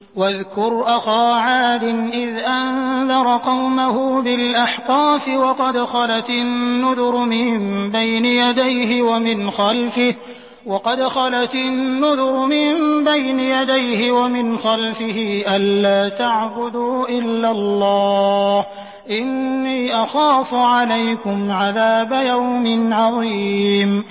۞ وَاذْكُرْ أَخَا عَادٍ إِذْ أَنذَرَ قَوْمَهُ بِالْأَحْقَافِ وَقَدْ خَلَتِ النُّذُرُ مِن بَيْنِ يَدَيْهِ وَمِنْ خَلْفِهِ أَلَّا تَعْبُدُوا إِلَّا اللَّهَ إِنِّي أَخَافُ عَلَيْكُمْ عَذَابَ يَوْمٍ عَظِيمٍ